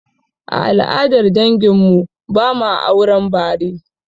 A al'adar dangin mu, ba ma auren bare